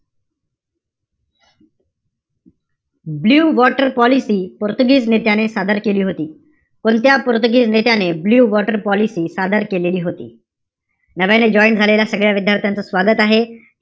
Blue water policy पोर्तुगीज नेत्याने सादर केली होती. कोणत्या पोर्तुगीज नेत्याने ब्लु वॉटर पॉलिसी सादर केलेली होती? नव्याने join झालेल्या सगळ्या विद्यार्थ्यांचं स्वागत आहे.